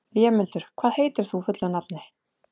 Vémundur, hvað heitir þú fullu nafni?